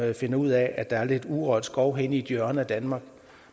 de finder ud af at der er lidt urørt skov henne i et hjørne af danmark